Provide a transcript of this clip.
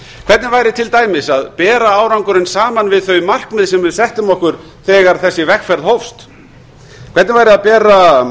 hvernig væri til dæmis að bera árangurinn saman við þau markmið sem við settum okkur þegar þessi vegferð hófst hvernig væri að bera